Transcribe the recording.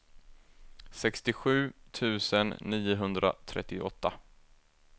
sextiosju tusen niohundratrettioåtta